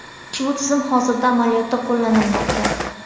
Ushbu tizim hozirda amaliyotda qo‘llanilmoqda.